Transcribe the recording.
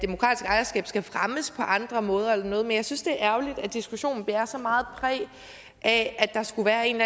ejerskab skal fremmes på andre måder eller noget men jeg synes det er ærgerligt at diskussionen bærer så meget præg af at der skulle være en